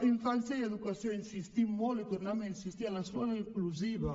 infància i educació insistim molt i tornem a insistir en l’escola inclusiva